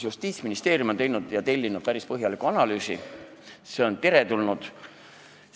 Justiitsministeerium on tellinud päris põhjaliku analüüsi, see on teretulnud.